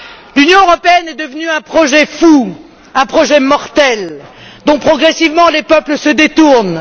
L'Union européenne est devenue un projet fou, un projet mortel, dont progressivement les peuples se détournent.